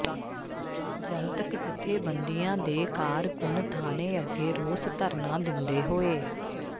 ਜਨਤਕ ਜਥੇਬੰਦੀਆਂ ਦੇ ਕਾਰਕੁੰਨ ਥਾਣੇ ਅੱਗੇ ਰੋਸ ਧਰਨਾ ਦਿੰਦੇ ਹੋਏ